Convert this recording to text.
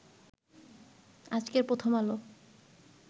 আজকের প্রথম আলো